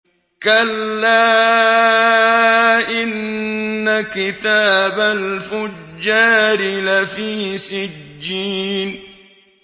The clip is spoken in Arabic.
كَلَّا إِنَّ كِتَابَ الْفُجَّارِ لَفِي سِجِّينٍ